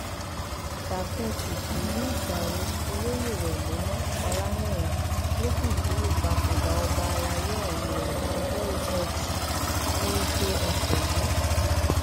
ṣàpẹtù ìlú ìjàre olóye wẹmímọ ọlànìrán ló fìdí ìpapòdà ọba àlàyé ọhún múlẹ lọjọ etí furuufee ọsẹ yìí